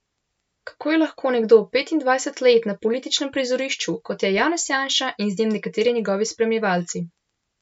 Kako je lahko nekdo petindvajset let na političnem prizorišču, kot je Janez Janša, in z njim nekateri njegovi spremljevalci?